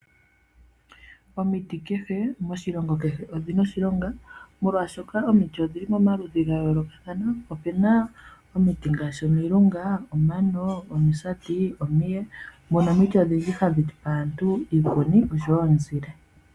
Omiti kehe moshilongo kehe odhina oshilonga molwaashoka omiti odhili momaludhi ga yoolokathana, opena omiti ngaashi omilunga, omano, omisati, omiye, mono omiti odhindji hadhi pe aantu iikuni oshowo omuzile.